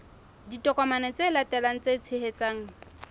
ditokomane tse latelang tse tshehetsang